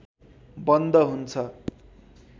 बन्द हुन्छ